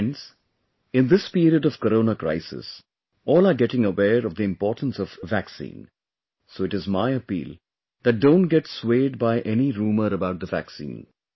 Friends, in this period of Corona crisis, all are getting aware of the importance of vaccine ... so it is my appeal that don't get swayed by any rumour about the vaccine